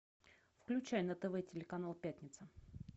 включай на тв телеканал пятница